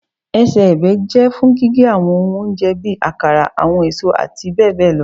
Ẹsẹ-ẹbẹ jẹ fun gige awọn ohun ounjẹ bi akara, awọn eso ati bẹbẹ lọ